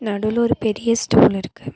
நடுவுல ஒரு பெரிய ஸ்டூல் இருக்கு.